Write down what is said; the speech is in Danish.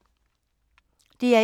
DR1